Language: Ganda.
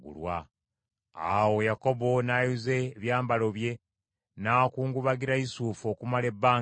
Awo Yakobo n’ayuza ebyambalo bye, n’akungubagira Yusufu okumala ebbanga ddene.